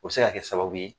O bɛ se ka kɛ sababu ye